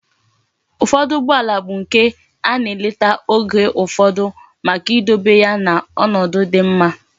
Ufodu Ugbo ala bu nke ana eleta Oge ufodu Maka idobe ya na onodu di mma